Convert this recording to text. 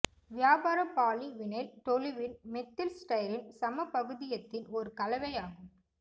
வியாபார poly vinyl toluene methyl styrene சமபகுதியத்தின் ஒரு கலவையாகும்